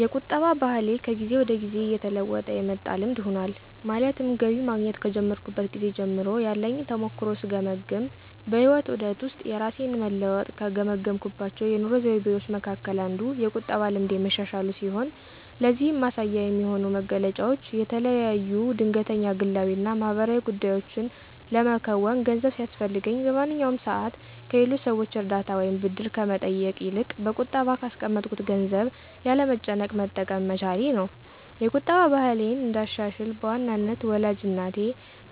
የቁጠባ ባህሌ ከጊዜ ወደ ጊዜ እየተለወጠ የመጣ ልምድ ሆኗል። ማለትም ገቢ ማግኘት ከጀመርኩበት ጊዜ ጀምሮ ያለኝን ተሞክሮ ስገመግም በህይወት ዑደት ውስጥ የራሴን መለወጥ ከገመገምኩባቸው የኑሮ ዘይቤዎቸ መካከል አንዱ የቁጠባ ልምዴ መሻሻሉ ሲሆን ለዚህም ማሳያ የሚሆኑኝ መገለጫዎች የተለያዩ ድንገተኛ ግላዊ እና ማህበራዊ ጉዳዮችን ለመከወን ገንዘብ ሲያስፈልገኝ በማንኛውም ሰዓት ከሌሎች ሰዎች እርዳታ ወይም ብድር ከመጠየቅ ይልቅ በቁጠባ ካስቀመጥኩት ገንዘብ ያለ መጨነቅ መጠቀም በመቻሌ ነው። የቁጠባ ባህሌን እንዳሻሽል በዋናነት ወላጅ እናቴ